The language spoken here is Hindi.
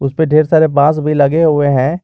पे ढेर सारे बांस भी लगे हुए हैं।